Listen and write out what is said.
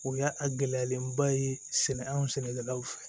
O y'a a gɛlɛyalen ba ye sɛnɛ anw sɛnɛkɛlaw fɛ